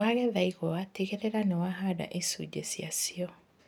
Wagetha igwa tigĩrĩra nĩ wahanda icunjĩ ciacio.